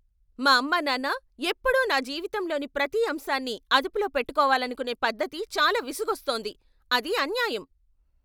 మా అమ్మానాన్న ఎప్పుడూ నా జీవితంలోని ప్రతి అంశాన్ని అదుపులో పెట్టుకోవాలనుకునే పద్ధతి చాలా విసుగొస్తోంది. అది అన్యాయం.